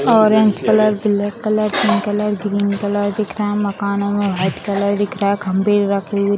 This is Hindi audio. orange colour black colour pink colour green colour दिख रहा है मकान में व्हाइट कलर दिख रहा है खम्भे रखे हुए --